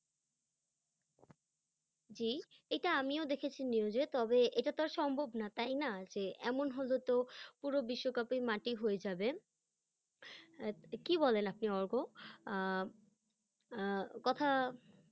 জি, এইটা আমিও দেখেছি news -এ, তবে এইটা তো আর সম্ভব না তাই না, যে এমন হলে তো পুরো বিশ্বকাপই মাটি হয়ে যাবে আহ কি বলেন আপনি অর্ক? আহ কথা